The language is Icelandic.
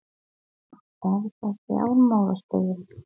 Telma: Er það fjármálastofnun?